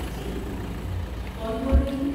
جی، کون بول رہی ہیں؟